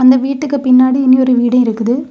இந்த வீட்டுக்கு பின்னாடி இன்னொரு வீடு இருக்குது.